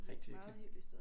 Rigtig hyggeligt